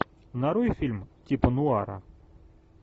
нарой фильм типа нуара